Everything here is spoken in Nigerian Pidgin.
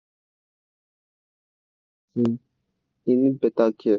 our elders talk say land be like person e need beta care.